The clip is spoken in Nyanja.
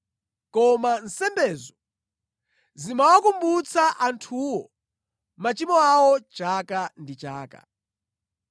Koma nsembezo zimawakumbutsa anthuwo machimo awo chaka ndi chaka.